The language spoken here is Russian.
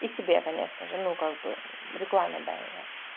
и себе конечно же ну как бы рекламе дай